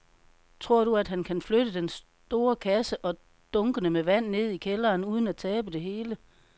Tror du, at han kan flytte den store kasse og dunkene med vand ned i kælderen uden at tabe det hele?